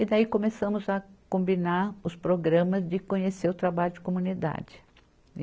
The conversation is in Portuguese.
E daí começamos a combinar os programas de conhecer o trabalho de comunidade.